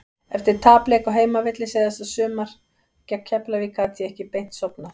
Eftir tapleik á heimavelli seinasta sumar gegn Keflavík gat ég ekki beint sofnað.